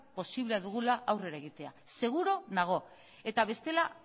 posiblea dugula aurrera egitea seguru nago eta bestela